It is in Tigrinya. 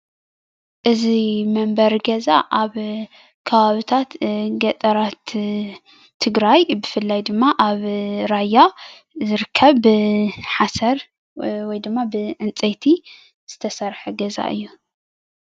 እዚ መንበሪ ገዛ ኣብ ከባቢታት ገጠራት ትግራይ ብፍላይ ድማ ኣብ ራያ ዝርከብ ብሓሰር ወይ ድማ ብዕንጨይቲ ዝተሰርሐ ገዛ እዩ፡፡